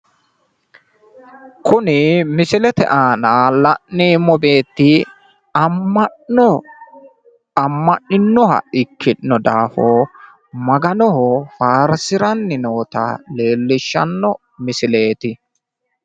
Kuni misilete aana la'neemmo beetti amma'no amma'ninoha ikkino daafo maganoho faarsiranni noota leellishshanno misileeti.